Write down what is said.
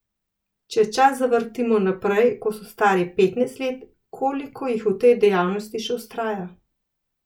Če čas zavrtimo naprej, ko so stari petnajst let, koliko jih v tej dejavnosti še vztraja?